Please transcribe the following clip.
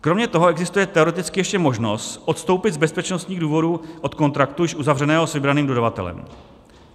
Kromě toho existuje teoreticky ještě možnost odstoupit z bezpečnostních důvodů od kontraktu již uzavřeného s vybraným dodavatelem.